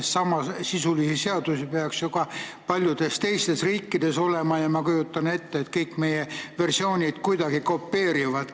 Sest samasisulisi seadusi peaks ju ka paljudes teistes riikides olema ja ma kujutan ette, et kõik meie versioonid kuidagi kopeerivad paljusid.